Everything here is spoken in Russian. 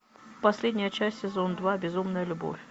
последняя часть сезон два безумная любовь